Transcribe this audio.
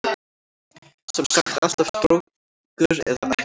Sem sagt alltaf strókur eða ekki alltaf?